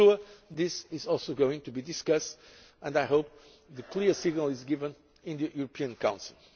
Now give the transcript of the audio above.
this. I am sure this is also going to be discussed, and I hope that a clear signal is given in the European Council.